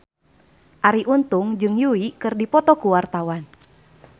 Arie Untung jeung Yui keur dipoto ku wartawan